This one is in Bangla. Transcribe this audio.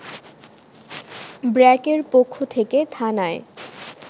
ব্র্যাকের পক্ষ থেকে থানায়